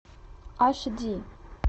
аш ди